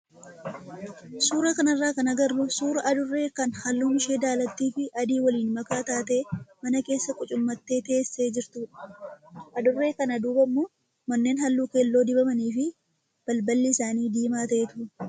Suuraa kanarraa kan agarru suuraa adurree kan halluun ishee daalattii fi adii waliin makaa taatee mana keessa qucuummattee teessee jirtudha. Adurree kana duuba immoo manneen halluu keelloo dibamanii fi balballi isaanii diimaa ta'etu jiru.